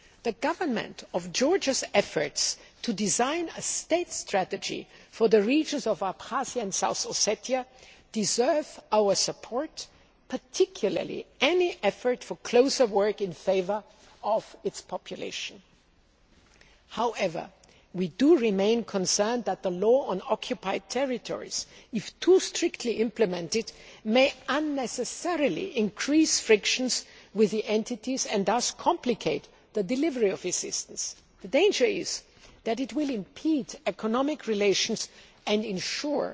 The Government of Georgia's efforts to design a state strategy for the regions of Abkhazia and South Ossetia deserve our support, particularly any effort for closer work in favour of its population. However, we remain concerned that the Law on Occupied Territories if too strictly implemented may unnecessarily increase frictions with the entities and thus complicate the delivery of assistance. The danger is that it will impede economic relations and